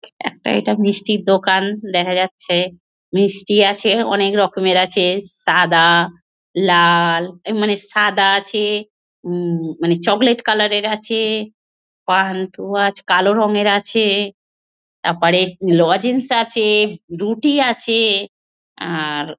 একটা ওইটা মিষ্টির দোকান দেখা যাচ্ছে। মিষ্টি আছে অনেক রকমের আছে সাদা লাল মানে সাদা আছে হুম মানে চকলেট কালার -এর আছে পান্তুয়া আছে আহ কালো রঙের আছে তারপরে লজেন্স আছে রুটি আছে আর।